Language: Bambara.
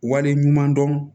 Wale ɲuman dɔn